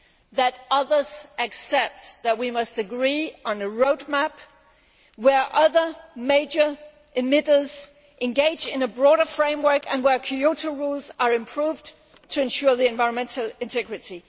that others accept we must agree on a roadmap where other major emitters engage in a broader framework and where Kyoto rules are improved to ensure the environmental integrity.